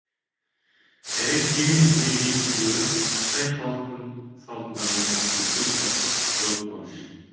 нәрестенің дүниеге келуі қай халықтың салтында болмасын үлкен шаттық зор қуаныш